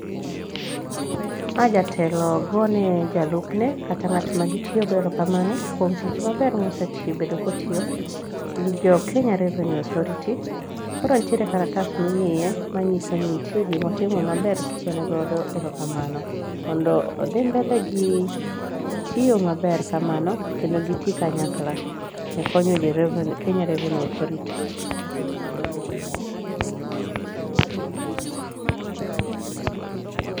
ma jatelo gone jalupne kata ngat magi tiyo go ero kamano kuom tich maber mosebedo kotiyo gi jo kenya revenue authority, koro nitie kalatas mimiye manyiso ni nitie gimo tio maber kogone godo ero kamano mondo odhi mbele gi tiyo maber kamano kendo gi ti kanyakla e konyo ji e kenya revenue authority